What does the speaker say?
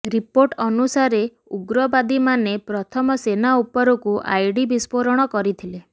report ଅନୁସାରେ ଉଗ୍ରବାଦୀମାନେ ପ୍ରଥମେ ସେନା ଉପରକୁ ଆଇଡି ବିସ୍ଫୋରଣ କରିଥିଲେ